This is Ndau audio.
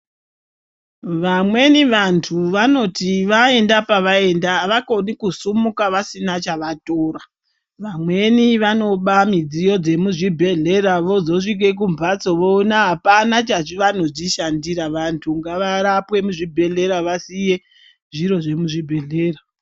Vamweni vantu vanoti vaenda pavaenda havakoni kusumuka vasina chavatora. Vamweni vanoba midziyo dzemuzvibhehlera vozosvike kumbatso voone hapana chavanodzishandira. Vantu ngavarapwe muzvibhedhlera vasiye zviro zvemuzvibhehlera.